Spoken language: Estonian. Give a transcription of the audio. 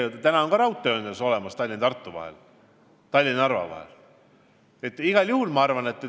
Ja täna on ka ju raudtee olemas Tallinna ja Tartu vahel ja Tallinna ja Narva vahel.